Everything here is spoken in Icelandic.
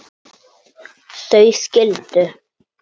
Þau skildu.